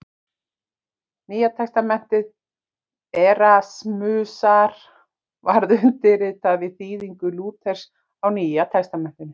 Nýja testamenti Erasmusar varð undirstaðan að þýðingu Lúthers á Nýja testamentinu.